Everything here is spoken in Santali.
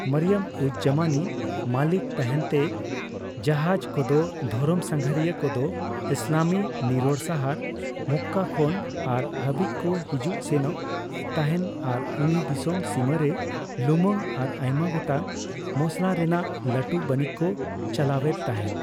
ᱢᱚᱨᱤᱭᱚᱢᱼᱩᱡᱽᱼᱡᱟᱢᱟᱱᱤ ᱢᱟᱹᱞᱤᱠ ᱛᱟᱦᱮᱱᱛᱮ ᱡᱟᱦᱟᱡᱽ ᱠᱚᱫᱚ ᱫᱷᱚᱨᱚᱢ ᱥᱟᱸᱜᱷᱟᱨᱤᱭᱟᱹ ᱠᱚᱫᱚ ᱤᱥᱞᱟᱢᱤ ᱱᱤᱨᱚᱲ ᱥᱟᱦᱟᱨ ᱢᱚᱠᱠᱟ ᱠᱷᱚᱱ ᱟᱨ ᱦᱟᱹᱵᱤᱡᱽ ᱠᱚ ᱦᱤᱡᱩᱜ ᱥᱮᱱᱚᱜ ᱛᱟᱦᱮᱱ ᱟᱨ ᱩᱱᱤ ᱫᱤᱥᱚᱢ ᱥᱤᱢᱟᱹᱨᱮ ᱞᱩᱢᱟᱝ ᱟᱨ ᱟᱭᱢᱟ ᱜᱚᱴᱟᱝ ᱢᱚᱥᱞᱟ ᱨᱮᱱᱟᱜ ᱞᱟᱹᱴᱩ ᱵᱟᱹᱱᱤᱡᱽ ᱠᱚ ᱪᱟᱞᱟᱣᱮᱫ ᱛᱟᱦᱮᱱ ᱾